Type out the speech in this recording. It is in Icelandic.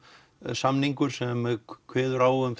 samningur sem kveður á um